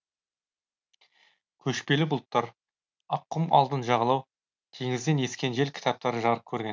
көшпелі бұлттар ақ құм алтын жағалау теңізден ескен жел кітаптары жарық көрген